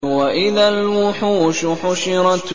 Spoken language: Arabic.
وَإِذَا الْوُحُوشُ حُشِرَتْ